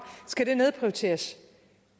skal det nedprioriteres